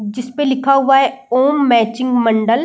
जिसपे लिखा हुआ है ओम मैचिंग मंडल।